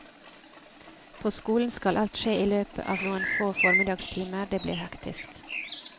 På skolen skal alt skje i løpet av noen få formiddagstimer, det blir hektisk.